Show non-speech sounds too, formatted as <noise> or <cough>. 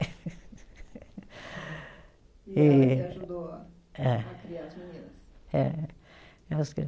<laughs> <unintelligible> ajudou a criar as meninas. É <unintelligible>